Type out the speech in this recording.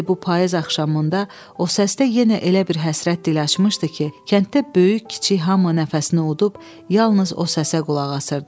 İndi bu payız axşamında o səsdə yenə elə bir həsrət dil açmışdı ki, kənddə böyük-kiçik hamı nəfəsini udub yalnız o səsə qulaq asırdı.